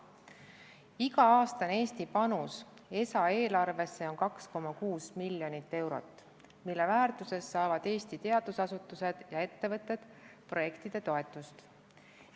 Iga aasta on Eesti panus ESA eelarvesse 2,6 miljonit eurot, selles väärtuses saavad Eesti teadusasutused ja ettevõtted projektide toetust.